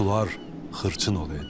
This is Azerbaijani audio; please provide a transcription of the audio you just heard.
Sular xırçın olaydı.